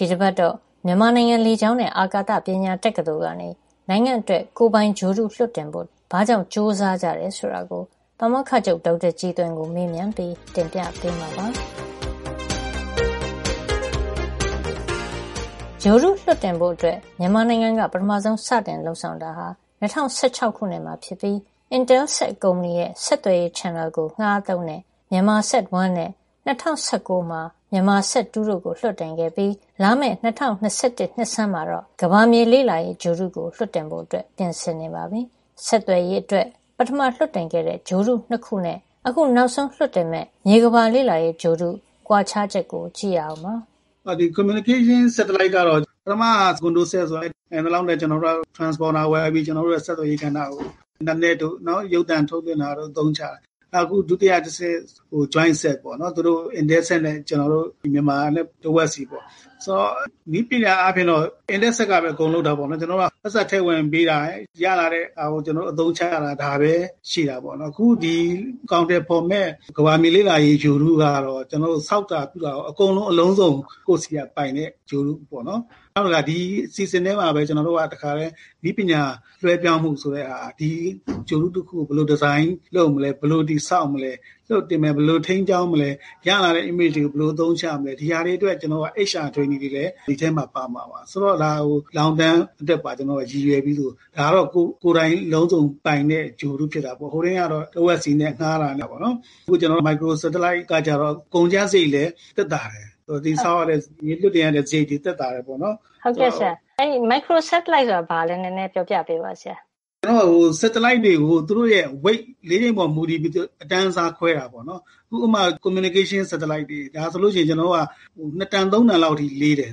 ဒီတပတ်တော့ မြန်မာနိုင်ငံ လေကြောင်းနဲ့ အာကာသကညာ တက္ကသိုလ်ကနေ နိုင်ငံ့အတွက် ကိုယ်ပိုင်ဂြိုဟ်တု လွှတ်တင်ဖို့ ဘာကြောင့် ကြိုးစားကြတယ် ဆိုတာကို ပါမောက္ခချုပ် ဒေါက်တာကြည်သွင်ကို မေးမြန်းပြီး တင်ပြပေးမှာပါ။ ဂြိုဟ်တုလွှတ်တင်ဖို့ အတွက် မြန်မာနိုင်ငံက ပထမဆုံးစပြီး လုပ်ဆောင်တာဟာ ၂၀၁၆ ခုနှစ်မှာ ဖြစ်ပြီး Intelsat ကုမ္ပဏီရဲ့ ဆက်သွယ်ရေး channel လိုင်းကို ငှါးသုံးတဲ့ MyanmarSat 1 နဲ့ ၂၀၁၉ မှာ MyanmarSat 2 တို့ကို လွှတ်တင်ခဲ့ပြီး လာမယ့် ၂၀၂၁ နှစ်ဆန်းမှာတော့ ကမ္ဘာမြေလေ့လာရေး ဂြိုဟ်တုကို လွှတ်တင်ဖို့ အတွက် ပြင်ဆင်နေပါပြီ။ ဆက်သွယ်ရေးအတွက် ပထမလွှတ်တင်ခဲ့တဲ့ ဂြိုဟ်တု ၂ ခုနဲ့ အခု နောက်ဆုံးလွှတ်တင်မယ့် မြေကမ္ဘာလေ့လာရေးဂြိုဟ်တု ကွာခြားချက်ကို ကြည့်ရအောင်ပါ။ “ဒီ communication satellite ဆက်သွယ်ရေးဂြိုဟ်တုကတော့ ပထမကcondosat ဆိုတာ- နိုင်သလောက်နဲ့ transponder ဝယ်ပြီး ကျနော်တို့ရဲ့ ဆက်သွယ်ရေးကဏ္ဍမှာ အင်တာနက်တို့ ရုပ်သံထုတ်လွှတ်တာတို့ကို အသုံးချတယ်။ နောက် အခု ဒုတိယတဆင့်က jointSat ပေါ့နော်။ intelSat နဲ့ ကျနော်တို့ မြန်မာနဲ့ တဝက်စီပေါ့။ ဆိုတော့ နည်းပညာအားဖြင့်က Intelsat က အကုန်လုပ်တာပေါ့နော်။ ကျနော်တို့က ပိုက်ဆံထည့်ဝင်ပေးတာ၊ ရလာတဲ့ဟာကို ကျနော်တို့ အသုံးချတာ။ ဒါပဲရှိတာပေါ့နော်။ အခုဒီ အကောင်အထည်ဖေါ်မယ့် ကမ္ဘာမြေ လေ့လာရေးဂြိုဟ်တုကတော့ ကျနော်တို့ ဆောက်တာ ပြုတာရော အကုန်လုံး အလုံးစုံ ကိုယ့်ဆီက ပိုင်တဲ့ ဂြိုဟ်တုပေါ့နော်။ နောက် ဒီအစီအစဉ်ထဲမှာပဲ ကျနော်တို့က တခါထဲ နည်းပညာလွှဲပြောင်းမှု ဆိုတဲ့ဟာ၊ ဒါက ဒီဂြိုဟ်တု တခုကို ဘယ်လို ဒီဇိုင်း လုပ်မလဲ၊ ဘယ်လိုတည်ဆောက်မလဲ၊ လွှတ်တင်မလဲ၊ ဘယ်လိုထိန်းကျောင်းမလဲ၊ ရလာတဲ့ image ဓါတ်ပုံတွေကို ဘယ်လို အသုံးချမလဲ၊ ဒီဟာတွေအတွက် HR training သင်တန်းပေးလေ့ကျင့်တာတွေလည်း ဒီအထဲမှာ ပါမှာပါ။ ဒါက ရေရှည်အတွက်ပါ ရည်ရွယ်ပြီး လုပ်တာပါ။ ဒါက ကိုယ်တိုင် အလုံးစုံ ပိုင်တဲ့ ဂြိုဟ်တု ဖြစ်တာပေါ့။ ဟိုတုန်းကတော့ တဝက်စီနဲ့ ငှါးတာနဲ့ ပေါ့နော်။ အခု မိုက်ခရို စက်တလိုက် microsatellite ကတော့ ကုန်ကျစားရိတ်လည်း သက်သာတယ်။ ဆိုတော့ လွှတ်တင်ရတဲ့ စားရိတ်တွေကလည်း သက်သာတယ် ပေါ့နော်။” “ဟုတ်ကဲ့ဆရာ မိုက်ခရို စက်တလိုက်ကို ရှင်းပြပေးပါ။” “စက်တလိုက်တွေကို သူတို့ရဲ့ weightအလေးချိန်ပေါ် မူတည်ပြီး အတန်းအစား ခွဲတာပေါ့နော်။ ဥပမာ ဆက်သွယ်ရေးဂြိုဟ်တု communication satellite ဆိုရင် ၂ တန်- ၃ တန်လောက်အထိ လေးတယ်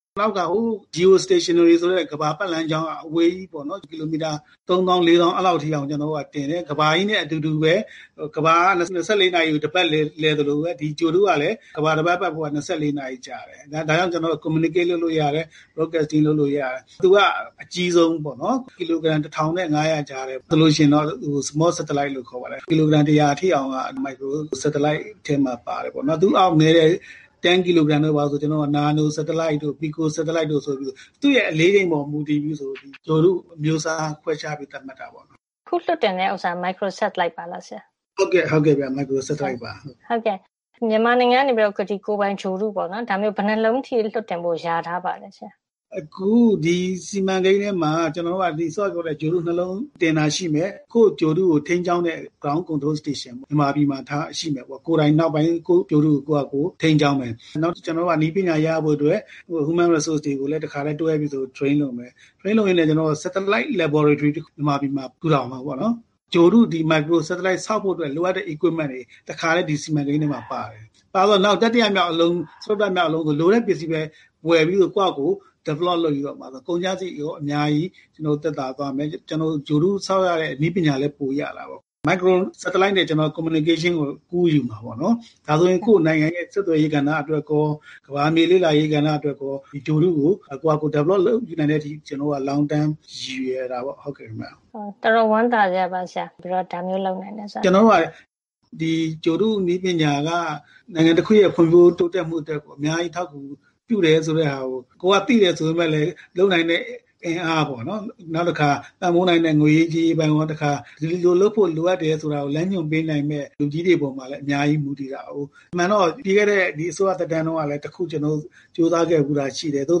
။ နောက် geostationary ဆိုတဲ့ ကမ္ဘာပတ်လမ်းက အဝေးကြီး ပေါ့နော်။ ကီလိုမီတာ ၃ သောင်း ၄ သောင်း အဲဒီ လောက်အထိကို တင်တယ်။ ကမ္ဘာကြီးနဲ့ အတူတူပဲ ကမ္ဘာက ၂၄ နာရီမှာ တပတ်လည် သလိုပဲ ဒီဂြိုဟ်တု ကလည်း ကမ္ဘာတပတ် ပတ်ဖို့ရာ ၂၄ နာရီ ကြာတယ်။ ဒါကြောင့် ကျနော်တို့က communicate လုပ်လို့ ဆက်သွယ်လို့ရတယ်။ broadcasting အသံလွှင့်လို့ ရတယ်။ သူက အကြီးဆုံး ပေါ့နော်။ ကီလိုဂရမ် တထောင်နဲ့ ငါးရာ ကြားထဲမှာ လေးတယ်။ ကီလိုဂရမ် တရာ အထိအောင်က မိုက်ခရိုစက်တလိုက် ထဲ ပါပါတယ်။ သူ့အောက် နဲတဲ့ ၁၀ ကီလိုဂရမ် တို့. ဘာတို့က နာနိုစက်တလိုက်တို့၊ ပီဆို စက်တလိုက်တို့ ဆိုပြီး သူ့ရဲ့ အလေးချိန်ပေါ် မူတည်ပြီး ဂြိုဟ်တုအမျိုးအစား ကို ခွဲခြားသတ်မှတ်တာပါ။” “အခုလွှတ်တင်တဲ့ ဟာက Micro Satellite ပါလား ဆရာ။” “ဟုတ်ပါတယ်။” “ဒီမြန်မာနိုင်ငံကနေပြီးတော့ ဒီလိုမျိုး ကိုယ်ပိုင်ဂြိုဟ်တု ဘယ်နှစ်လုံးလောက် လွှတ်တင်ဖို့ လျာထား ပါလဲဆရာ။” “အခု ဒီစီမံကိန်းထဲမှာ စောစောက ပြောတဲ့ ဒီ ဂြိုဟ်တု ၂ လုံးတင်မှာ ရှိတယ်။ ကိုယ့်ဂြိုဟ်တုကို ထိန်းကျောင်းမယ့် ground control station မြေပြင်ထိန်းချုပ်ရေးစခန်း မြန်မာပြည်မှာထားရှိမယ်ပေါ့။ ကိုယ်တိုင် နောက်ပိုင်း ကိုယ့်ဂြိုဟ်တုကို ကိုယ့်ဟာကိုယ် ထိန်းကျောင်း မယ်ပေါ့နော်။ ကျနော်တို့က နည်းပညာ ရဖို့ အတွက် Human Resources တွေကိုလည်း တွဲပြီးတော့ train လုပ်မယ်။ ထရိန်းလုပ်ရင်းနဲ့ စက်တလိုက် laboratory ဓါတ်ခွဲခန်း မြန်မာပြည်မှာ ထူထောင်မယ် ပေါ့နော်။ ဂြိုဟ်တု - ဒီမိုက်ခရိုစက်တလိုက် ဆောက်ဖို့ လိုအပ်တဲ့ စက်ပစ္စည်းတွေ တွေ တခါထဲ ဒီစီမံကိန်း ထဲမှာ ပါတယ်။ ပါတော့ ၊ နောက် တတိယမြောက် အလုံး ဆို လိုတဲ့ ပစ္စည်းပဲ ဝယ်ပြီးတော့ ကိုယ့်ဟာကိုယ် develop လုပ်ပြီးတော့ ဆိုရင် ကုန်ကျစားရိတ်လည်း အများကြီးသက်သာသွားမယ်။ ဂြိုဟ်တု ဆောက်ရမယ့် နည်းပညာလည်း ပိုရတာပေါ့။ ဒီမိုက်ခရို စက်တလိုက်နဲ့ ကျနော်တို့က communication ဆက်သွယ်ရေးကို ကူးယူမယ် ပေါ့နော်။ ဒါဆိုရင် ကိုယ့် နိုင်ငံရဲ့ ဆက်သွယ်ရေး ကဏ္ဍ အတွက်ရော၊ ကမ္ဘာမြေ လေ့လာရေးကဏ္ဍ အတွက်ရော ဒီဂြိုဟ်တုကို ကိုယ့်ဟာကိုယ် တည်ဆောက် နိုင်တဲ့အထိ ကျနော်တို့က ရေရှည် ရည်ရွယ်တာပေါ့ခင်ဗျ။” ဒါ တော်တော်ဝမ်းသာစရာပါ ဆရာ၊ ဒါမျိုး လုပ်နိုင်တယ် ဆိုတာလေ။ “ကျနော်တို့က ဒီဂြိုဟ်တုနည်းပညာက နိုင်ငံတခုရဲ့ ဖွံ့ဖြိုး တိုးတက်မှု အတွက် အများကြီး အထောက်အကူ ပြုတယ် ဆိုတဲ့ဟာကို သိတယ် ဆိုပေမယ့်လည်း လုပ်နိုင်တဲ့ အင်အားပေါ့နော်၊ နောက်တခါ ပံ့ပိုးနိုင်တဲ့ ငွေရေး ကြေးရေးပိုင်းရော၊ တခါ ဒီလို လုပ်ဖို့ လိုအပ်တယ် ဆိုတာကို လမ်းညွှန်ပေးနိုင်တဲ့ လူကြီးတွေ ပေါ်မှာလည်း အများကြီး မူတည်ပါတယ်။ အမှန်တော့ ပြီးခဲ့တဲ့ အစိုးရသက်တမ်း တုန်းကလည်း တခု ကြိုးစား ခဲ့ဘူးတာ ရှိတယ်။ သို့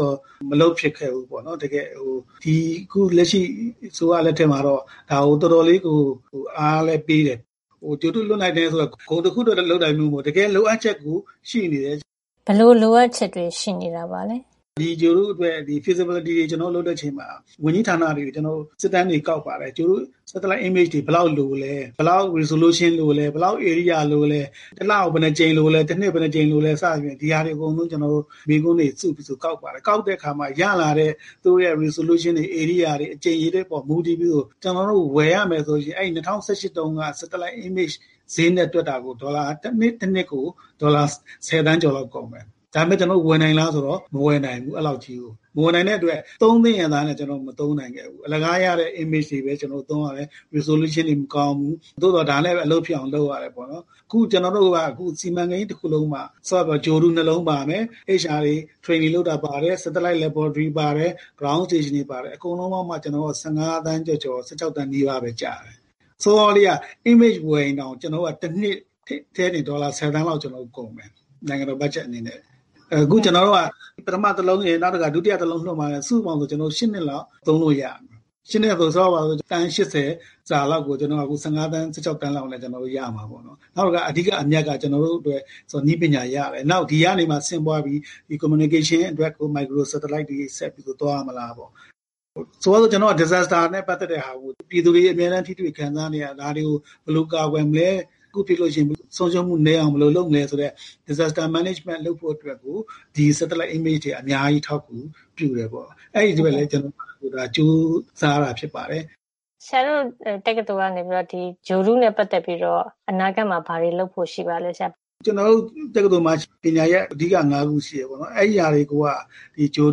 သော် မလုပ်ဖြစ်ခဲ့ ဘူး ပေါ့နော်။ အခု လက်ရှိ အစိုးရ လက်ထက်မှာတော့ ဒါကို တော်တော် လေးကို အားလည်း ပေးတယ်။ ဒီ ဂြိုဟ်တု လွှတ်နိုင်တယ် ဆိုတာ ဂုဏ်တခုအတွက် လုပ်တာမျိုး မဟုတ်ဖူး။ တကယ်လိုအပ်ချက်ကို ရှိနေတာ။” “ဘယ်လို လိုအပ်ချက်ပါလဲ၊” “ဒိဂြိုဟ်တုအတွက် feasibility ဖြစ်နိုင်ချေ တွေကို တွက်ဖို့ လုပ်တဲ့ အခါ ဒီ ဝန်ကြီးဌာနတွေကို ကျနော်တို့ စစ်တမ်းတွေ ကောက်ပါတယ်။ ဒီ Satellite Image ကောင်းကင်ဂြိုဟ်တု ဓါတ်ပုံတွေ ဘယ်လောက် လိုသလဲ၊ ဘယ်လောက် resolution လိုသလဲ၊ ဘယ်လောက် ဧရိယာ လိုသလဲ၊ တလကို ဘယ်နှစ်ကြိမ် လိုသလဲ၊ တနှစ်ကို ဘယ်နှစ်ကြိမ် လိုသလဲ စသဖြင့် ဒီဟာတွေ အကုန်လုံး မေးခွန်းတွေ စုပြီးတော့ ကောက်ပါတယ်။ ကောက်တဲ့ အခါမှာ ရလာတဲ့ သူတို့ရဲ့ resolution တွေ၊ ဧရိယာတွေ အကြိမ် အရေအတွက် တွေပေါ် မူတည်ပြီးတော့ ကျနော်တို့ ဝယ်ရမယ် ဆိုရင် အဲဒီ ၂၀၁၈ တုန်းက ဂြိုဟ်တုဓါတ်ပုံ ဈေးနဲ့ တွက်တာကို တနှစ်တနှစ်ကို ဒေါ်လာ ဆယ်သန်းကျော် လောက် ကုန်မယ်။ ဒါပေမယ့် ကျနော်တို့ ဝယ်နိုင်လား ဆိုတော့ မဝယ်နိုင်ဘူး။ အဲဒီလေက်ကြီးကို။ မဝယ်နိုင်တဲ့ အတွက် သုံးသင့်ရဲ့ သားနဲ့ကျနော်တို့ မသုံးနိုင်ခဲ့ဘူး။ အလကားရတဲ့ image ပုံတွေပဲ ကျနော်တို့ သုံးရတယ်။ ပုံရိပ်ပြတ်သားမှု - resolution တွေက မကောင်းဘူး။ သို့သော် ဒါနဲ့ပဲ အလုပ်ဖြစ်အောင် လုပ်ရတယ် ပေါ့နော်။ အခု ကျနော်တို့က ဒီ စီမံကိန်း တခုလုံးမှ စောစောက ပြောသလို ဂြိုဟ်တု ၂ လုံးပါမယ်။ HR တွေ ထရိန်နင် လုပ်တာ ပါတယ်။ satellite lab ပါတယ်။ မြေပြင်ထိန်းသိမ်းရေး စခန်း ground station တွေ ပါတယ်။ အကုန်လုံးပေါင်းမှာ ကျနော်တို့က ၁၅ သန်း ကျော်ကျော် ၁၆ သန်း နီးပါးပဲ ကျတယ်။ ဆိုတော့ စောစောလေးက image ဝယ်ရင်တောင် ကျနော်တို့က တနှစ်ထဲတင် ဒေါ်လာ ဆယ်သန်းလောက် ကုန်မယ်။ နိုင်ငံတော် ဘတ်ဂျက် အနေနဲ့။ အခု ကျနော်တို့က ပထမ တလုံရယ် နောက်တခါ ဒုတိယအလုံးလွှတ်မှာက စုစုပေါင်း ၈ နှစ်လောက် သုံးလို့ ရတယ်။ ၈ နှစ်ဆို ထားပါတော့ သန်း ၈၀ စာလောက်ကို ကျနော်တို့က ၁၅ သန်း ၁၆ သန်းနဲ့ ရမှာ ပေါ့နော်။ နောက်အဓိက အမြတ်က ကျနော်တို့အတွက် နည်းပညာ ရတယ်။ နောက် ဒီကနေမှ ဆင့်ပွါးပြီး ဆက်သွယ်ရေး communication အတွက် မိုက်ခရို satellite တွေ ဆက်ပြီးတော့ သွားမလားပေါ့။ ဆိုပါတော့ သဘာဝ ဘေးအန္တရာယ် disasters တွေနဲ့ ပတ်သက်ပြီး ပြည်သူတွေ အမြဲတမ်း ထိတွေ့ခံစား နေရတာ၊ ဒါတွေကို ဘယ်လို ကာကွယ်မလဲ။ တခုခု ဖြစ်လို့ရှိရင် ဆုံးရှုံးမှုနည်းအောင် ဘယ်လို လုပ်မလဲ ဆိုတဲ့ သဘာဝ ဘေးအန္တရာယ် စီမံခန့်ခွဲမှု လုပ်ဖို့ disasters management လုပ်ဖို့ အတွက် ဒီ satellite images ဂြိုဟ်တုဓါတ်ပုံ တွေက အများကြီး အထောက် အကူပြုတယ်ပေ့ါ။ အဲဒီအတွက်ကို ကျနော်တို့က ကြိုးစားရတာ ဖြစ်ပါတယ်။” “ဆရာတို့ တက္ကသိုလ်ကနေပြီးတော့ ဒီဂြိုဟ်တုနဲ့ ပတ်သက်ပြီး အနာဂတ်မှာ ဘာတွေ လုပ်ဖို့ ရှိပါလဲဆရာ။” “ကျနော်တို့ တက္ကသိုလ်မှာ အဓိကပညာရပ် ၅ ခု ရှိတယ်ပေါ့နော်။ အဲဒါတွေက ဒီဂြိုဟ်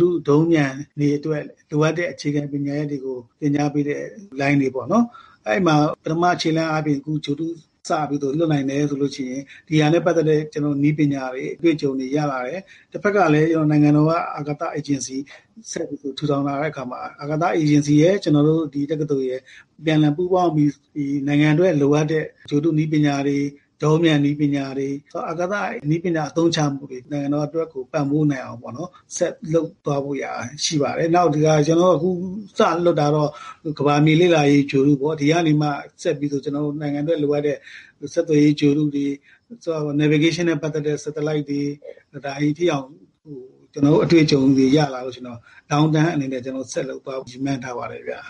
တု၊ ဒုံးပျံတွေ အတွက် လိုအပ်တဲ့ အခြေခံပညာ တွေကို သင်ကြား ပေးတဲ့ လိုင်းတွေ ပေါ့နော်။ အဲဒီမှာ ပထမ ခြေလှမ်းအားဖြင့် ဒီဂြိုဟ်တု စပြီးတော့ လွှတ်နိုင်မယ် ဆိုလို့ရှိရင် ဒီဟာနဲ့ပတ်သက်တဲ့ နည်းပညာတွေ၊ အတွေ့အကြုံတွေ ရလာမယ်။ တဖက်ကလည်း နိုင်ငံတော်က အာကာသ အေဂျင်စီ ထူထောင် လာတဲ့ အခါမှာ အဲဒီ အာကာသအေဂျင်စီရယ်၊ ကျနော်တို့ တက္ကသိုလ်ရယ် အပြန်အလှန် ပူးပေါင်းပြီး နိုင်ငံအတွက် လိုအပ်တဲ့ ဂြိုဟ်တုနည်းပညာတွေ၊ ဒုံးပျံနည်းပညာတွေ၊ အာကာသနည်းပညာ အသုံးချမှုတွေနဲ့ နိုင်ငံတော်အတွက်ကို ပံ့ပိုးနိုင်အောင် ပေါ့နော်၊ ဆက်လုပ်သွားဖို့ ရှိပါတယ်။ နောက် အခု ကျနော်တို့ စလွှတ်တာကတော့ ကမ္ဘာမြေ လေ့လာရေး ဂြိုဟ်တုပေါ့။ ဒါကနေမှ ဆက်ပြီး နိုင်ငံအတွက် လိုအပ်တဲ့ ဆက်သွယ်ရေး ဂြိုဟ်တုတွေ၊ navigation လမ်းညွှန်တာနဲ့ ပတ်သက်တဲ့ ဂြိုဟ်တု satellite တွေ၊ အဲဒီအထိအောင် ကျနော်တို့ အတွေ့အကြုံတွေ ရလာတဲ့ အချိန်မှာ ရေရှည်အနေနဲ့ ဆက်လုပ်သွားဖို့ ရည်မှန်းထားပါတယ်ဗျ။”